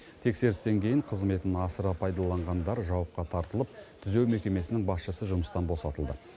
тексерістен кейін қызметін асыра пайдаланғандар жауапқа тартылып түзеу мекемесінің басшысы жұмыстан босатылды